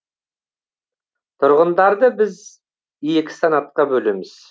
тұрғындарды біз екі санатқа бөлеміз